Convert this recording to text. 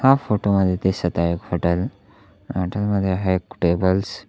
हा फोटो मध्ये दिसत आहे एक हॉटेल हॉटेल मध्ये आहे एक टेबल्स .